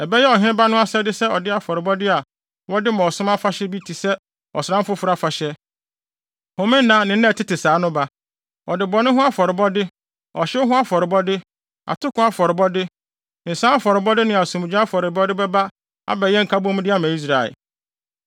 Ɛbɛyɛ ɔheneba no asɛde sɛ ɔde afɔrebɔde a wɔde ma ɔsom afahyɛ bi te sɛ ɔsram foforo afahyɛ, homenna ne nna a ɛtete saa no ba. Ɔde bɔne ho afɔrebɔde, ɔhyew ho afɔrebɔde, atoko afɔrebɔde, nsa afɔrebɔde ne asomdwoe afɔrebɔde bɛba abɛyɛ nkabomde ama Israel.